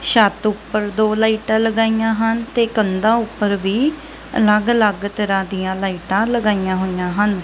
ਛੱਤ ਉਪਰ ਦੋ ਲਾਈਟਾਂ ਲਗਾਈਆਂ ਹਨ ਤੇ ਕੰਧਾਂ ਊਪਰ ਵੀ ਅਲਗ ਅਲਗ ਤਰਹਾਂ ਦਿਆਂ ਲਾਈਟਾਂ ਲਗਾਈਆਂ ਹੋਈਆਂ ਹਨ।